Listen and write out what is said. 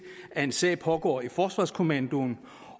at den sag pågår i forsvarskommandoen